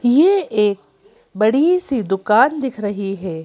यह एक बड़ी सी दुकान दिख रही है।